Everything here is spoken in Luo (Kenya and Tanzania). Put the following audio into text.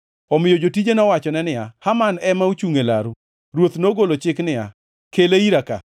Omiyo jotije nowachone niya, “Haman ema ochungʼ e laru.” Ruoth nogolo chik niya, “Kele ira ka.”